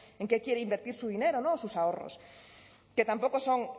en qué quiere invertir su dinero o sus ahorros que tampoco son